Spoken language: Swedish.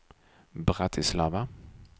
Bratislava